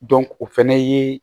o fɛnɛ ye